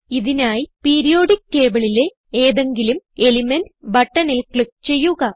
ഇതിനായി പീരിയോഡിക്ക് tableലെ ഏതെങ്കിലും എലിമെന്റ് buttonൽ ക്ലിക്ക് ചെയ്യുക